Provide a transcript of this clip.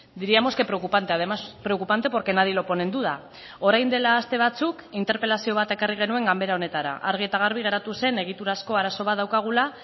diríamos que preocupante además preocupante porque nadie lo pone en duda orain dela aste batzuk interpelazio bat ekarri genuen ganbera honetara argi eta garbi geratu zen egiturazko arazo bat daukagula